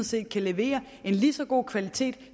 set kan levere en lige så god kvalitet